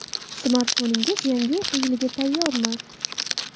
Smartfoningiz yangi o‘quv yiliga tayyormi?.